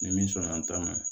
Ni min sɔnna an ta ma